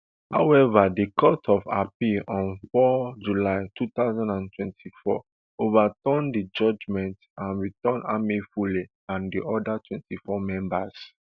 however di court of appeal on four july two thousand and twenty-four overturn di judgement and return amaewhule and di oda twenty-four members